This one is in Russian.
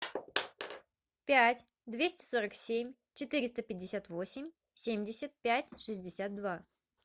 пять двести сорок семь четыреста пятьдесят восемь семьдесят пять шестьдесят два